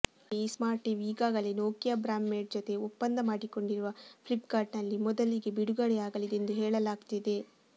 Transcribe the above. ಜೊತೆಗೆ ಈ ಸ್ಮಾರ್ಟ್ಟಿವಿ ಈಗಾಗಲೇ ನೋಕಿಯಾ ಬ್ರ್ಯಾಮಡ್ ಜೊತೆ ಒಪ್ಪಂದ ಮಾಡಿಕೊಂಡಿರುವ ಫ್ಲಿಪ್ಕಾರ್ಟ್ನಲ್ಲಿ ಮೊದಲಿಗೆ ಬಿಡುಗಡೆ ಆಗಲಿದೆ ಎಂದು ಹೇಳಲಾಗ್ತಿದೆ